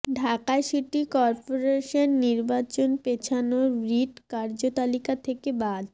Dhaka city corporation নির্বাচন পেছানোর writ কার্যতালিকা থেকে বাদ